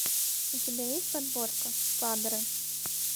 у тебя есть подборка падре